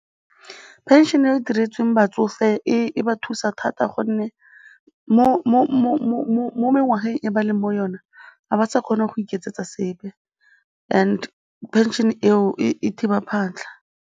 Pension-e e diretsweng batsofe e ba thusa thata gonne mo mengwageng e ba leng mo yona ga ba sa kgona go iketsetsa sepe and pension eo e thiba phatlha.